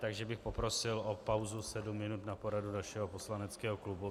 Takže bych poprosil o pauzu sedm minut na poradu našeho poslaneckého klubu.